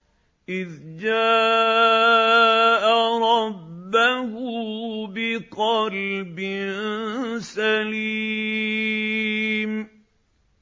إِذْ جَاءَ رَبَّهُ بِقَلْبٍ سَلِيمٍ